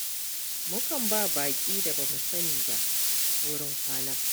Mukan ba wa baƙi da ba mu sani ba wurin kwana.